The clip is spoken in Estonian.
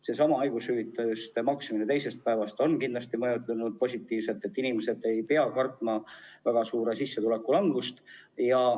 Seesama haigushüvitise maksmine teisest päevast alates on kindlasti mõjunud positiivselt, inimesed ei pea enam kartma väga suurt sissetuleku kahanemist.